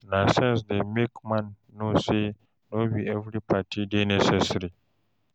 Na sense dey make man know say no bi evri party dey necessary